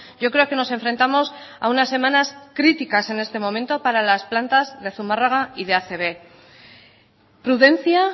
yo creo que nos enfrentamos a unas semanas críticas en este momento para las plantas de zumarraga y de acb prudencia